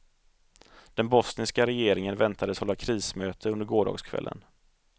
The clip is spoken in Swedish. Den bosniska regeringen väntades hålla krismöte under gårdagskvällen.